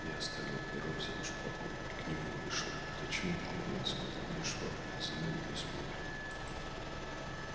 я оставил перо взял шпагу и к нему вышел зачем откладывать сказал мне швабрин за нами не смотрят